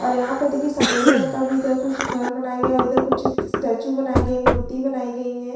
और यहाँ पर देखिए सफ़ेद रंग का भी इधर कुछ घर बनाया गया है और इधर कुछ स्टेचू बनाई गई है मूर्ति बनाई गई हैं।